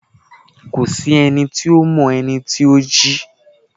ko sí ení to mọ ení tí o jí